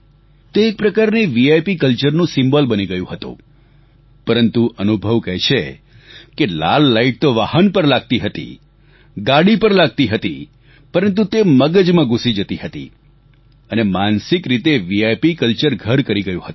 તે એક પ્રકારથી વિપ કલ્ચર નું સિમ્બોલ બની ગયું હતું પરંતુ અનુભવ કહે છે કે લાલ લાઈટ તો વાહન પર લાગતી હતી ગાડી પર લાગતી હતી પરંતુ તે મગજમાં ઘૂસી જતી હતી અને માનસીક રીતે વિપ કલ્ચર ઘર કરી ગયું હતું